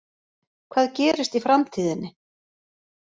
Hvað gerist í framtíðinni?